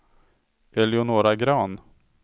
Eleonora Grahn